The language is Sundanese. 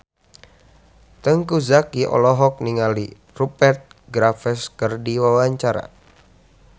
Teuku Zacky olohok ningali Rupert Graves keur diwawancara